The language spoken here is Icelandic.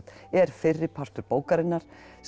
er fyrri partur bókarinnar